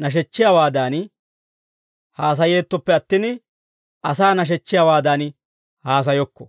nashechchiyaawaadan haasayeettoppe attin, asaa nashechchiyaawaadan haasayokko.